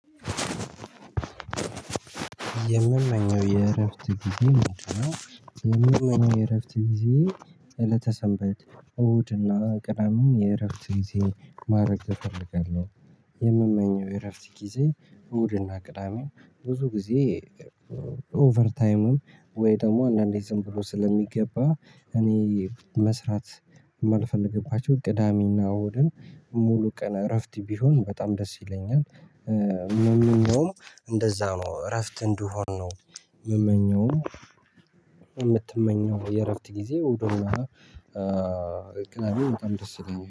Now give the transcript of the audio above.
የምመኘው የእረፍት ጊዜ ምንድነው የምንመኘው የእረፍት ጊዜዬ እለተ ሰንበት እሁድና ቅዳሜ የእረፍት ጊዜ ማድረግ እፈልጋለሁ። የምመኘው የረፍት ጊዜ እሁድና ቅዳሜ ብዙ ጊዜ እ ኦቨርታይምም ወይ ደግሞ አንዳንዴ ዝም ብሎ ስለሚገባ እኔ መስራት የማልፈልግባቸው ቅዳሜና እሁድን ሙሉ ቀን እረፍት ቢሆን በጣም ደስ ይለኛል እ ምመኘውም እንደዛ ነው እረፍት እንድሆን ነው ምመኘውም የምትመኘው የእረፍት ጊዜ እሁድና እ ቅዳሜ በጣም ደስ ይለኛል